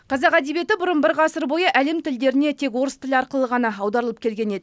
қазақ әдебиеті бұрын бір ғасыр бойы әлем тілдеріне тек орыс тілі арқылы ғана аударылып келген еді